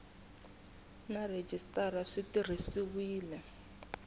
na rhejisitara swi tirhisiwile hi